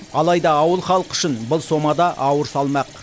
алайда ауыл халқы үшін бұл сома да ауыр салмақ